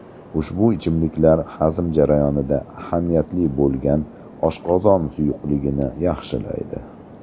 Ushbu ichimliklar hazm jarayonida ahamiyatli bo‘lgan oshqozon suyuqligini yaxshilaydi.